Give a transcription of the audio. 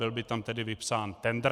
Byl by tam tedy vypsán tendr.